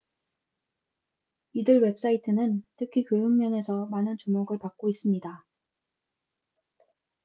이들 웹사이트는 특히 교육 면에서 많은 주목을 받고 있습니다